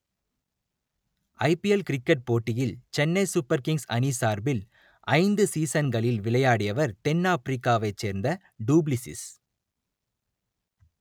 ஐ P L cricket போட்டியில் Chennai super kings அணி சார்பில் ஐந்து சீசன்களில் விளையாடிவர் தென் ஆப்பிரிக்காவைச் சேர்ந்த டூ பிளிஸ்சிஸ்